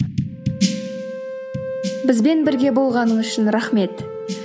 бізбен бірге болғаныңыз үшін рахмет